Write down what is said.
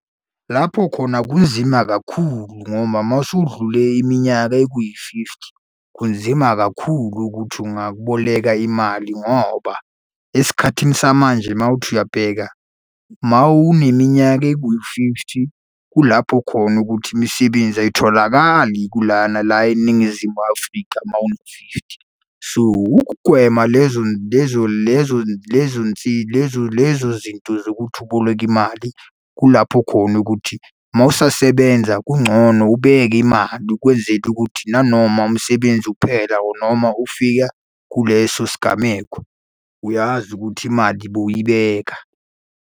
Lapho khona kunzima kakhulu ngoba uma usudlule iminyaka ekuyi-fifty, kunzima kakhulu ukuthi ungakuboleka imali ngoba esikhathini samanje mawuthi uyabheka uma uneminyaka eku-fifty, kulapho khona ukuthi imisebenzi ayitholakali kulana la eNingizimu Afrika uma uthi fifty. So, ukugwema lezo lezo lezo lezo lezo lezo zinto zokuthi uboleke imali, kulapho khona ukuthi uma usasebenza kungcono ubeke imali ukwenzela ukuthi nanoma umsebenzi uphela or noma ufika kuleso sigameko, uyazi ukuthi imali bowuyibeka.